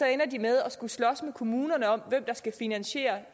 ender de med at skulle slås med kommunerne om hvem der skal finansiere